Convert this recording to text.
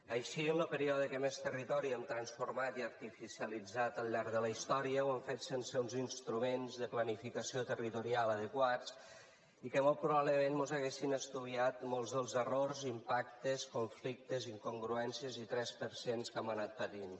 així en lo període que més territori hem transformat i artificialitzat al llarg de la història ho hem fet sense uns instruments de planificació territorial adequats i que molt probablement mos haurien estoviat molts dels errors impactes conflictes incongruències i tres per cents que hem anat patint